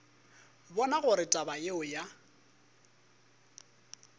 bona gore taba yeo ya